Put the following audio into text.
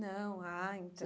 Não, ah, então.